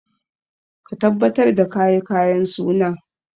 Ka tabbatar da ka yi kayan suna!